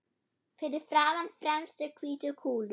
Fyrir framan fremstu hvítu kúluna.